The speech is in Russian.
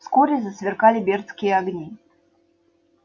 вскоре засверкали бердские огни